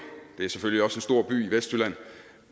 det er selvfølgelig også en stor by i vestjylland